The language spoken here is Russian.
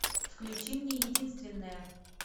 включи мне единственная